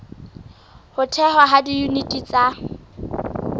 ho thehwa ha diyuniti tsa